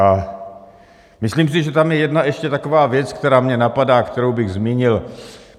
A myslím si, že tam je ještě jedna taková věc, která mě napadá, kterou bych zmínil.